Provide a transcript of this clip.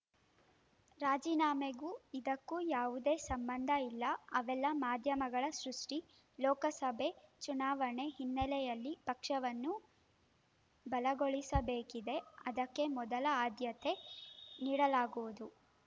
ರಾಜೀನಾಮೆಗೂ ಇದಕ್ಕೂ ಯಾವುದೇ ಸಂಬಂಧ ಇಲ್ಲ ಅವೆಲ್ಲಾ ಮಾಧ್ಯಮಗಳ ಸೃಷ್ಟಿ ಲೋಕಸಭೆ ಚುನಾವಣೆ ಹಿನ್ನೆಲೆಯಲ್ಲಿ ಪಕ್ಷವನ್ನು ಬಲಗೊಳಿಸಬೇಕಿದೆ ಅದಕ್ಕೆ ಮೊದಲ ಆದ್ಯತೆ ನೀಡಲಾಗುವುದು